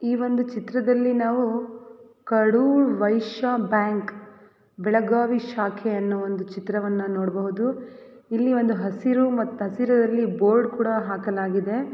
ಈ ಒಂದು ಚಿತ್ರದಲ್ಲಿ ನಾವು ಕಡೂರ್ ವೈಶ್ಯ ಬ್ಯಾಂಕ್ ಬೆಳಗಾವಿ ಶಾಖೆ ಎನ್ನೊ ಒಂದು ಚಿತ್ರವನ್ನು ನೋಡಬಹುದು. ಇಲ್ಲಿ ಒಂದು ಹಸಿರು ಮತ್ ಹಸಿರರಲ್ಲಿ ಬೋರ್ಡ್ ಕೂಡ ಹಾಕಲಾಗಿದೆ.